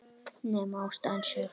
Nema ástæðan sé ég.